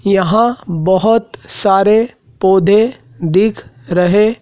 यहाँ बहोत सारे पौधे दिख रहें--